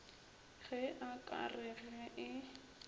ge a ka re ge